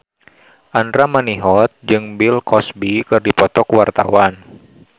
Andra Manihot jeung Bill Cosby keur dipoto ku wartawan